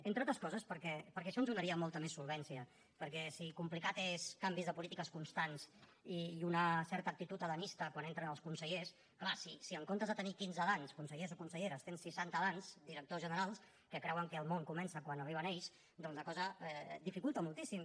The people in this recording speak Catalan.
entre altres coses perquè això ens donaria molta més solvència perquè si complicats són canvis de polítiques constants i una certa actitud adamista quan entren els consellers clar si en comptes de tenir quinze adams consellers i conselleres tens seixanta adams directors generals que creuen que el món comença quan arriben ells doncs la cosa dificulta moltíssim